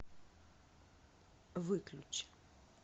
выключи